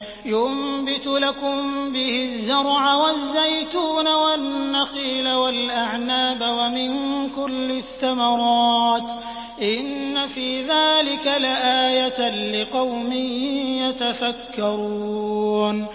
يُنبِتُ لَكُم بِهِ الزَّرْعَ وَالزَّيْتُونَ وَالنَّخِيلَ وَالْأَعْنَابَ وَمِن كُلِّ الثَّمَرَاتِ ۗ إِنَّ فِي ذَٰلِكَ لَآيَةً لِّقَوْمٍ يَتَفَكَّرُونَ